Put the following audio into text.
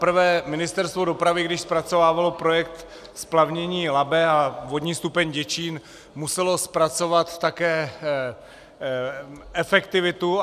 Zaprvé Ministerstvo dopravy, když zpracovávalo projekt splavnění Labe a vodní stupeň Děčín, muselo zpracovat také efektivitu.